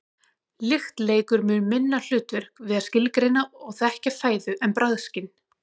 lykt leikur mun minna hlutverk við að skilgreina og þekkja fæðu en bragðskyn